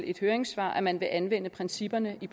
et høringssvar at man vil anvende principperne i